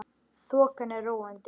Þokan er róandi